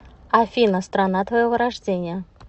афина страна твоего рождения